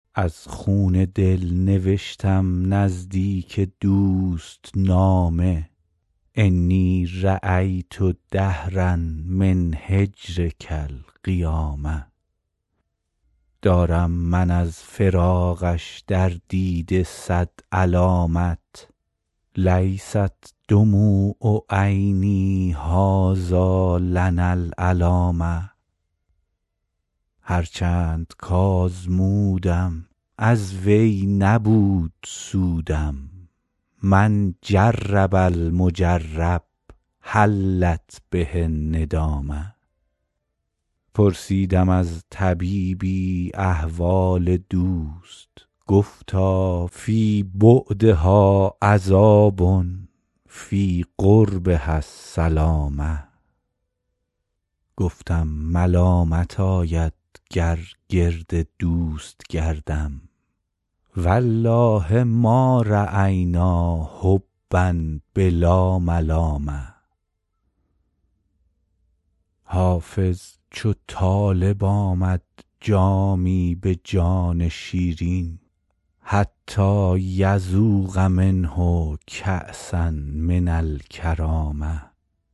از خون دل نوشتم نزدیک دوست نامه انی رأیت دهرا من هجرک القیامه دارم من از فراقش در دیده صد علامت لیست دموع عینی هٰذا لنا العلامه هر چند کآزمودم از وی نبود سودم من جرب المجرب حلت به الندامه پرسیدم از طبیبی احوال دوست گفتا فی بعدها عذاب فی قربها السلامه گفتم ملامت آید گر گرد دوست گردم و الله ما رأینا حبا بلا ملامه حافظ چو طالب آمد جامی به جان شیرین حتیٰ یذوق منه کأسا من الکرامه